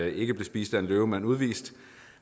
ikke blev spist af en løve men udvist